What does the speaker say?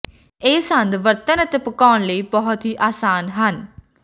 ਇਹ ਸੰਦ ਵਰਤਣ ਅਤੇ ਪਕਾਉਣ ਲਈ ਬਹੁਤ ਹੀ ਆਸਾਨ ਹਨ